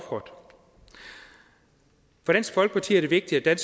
for dansk folkeparti er det vigtigt at